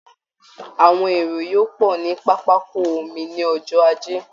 Àwọn èrò yóò pọ̀ ní pápákọ omi ní ọjọ́ ajé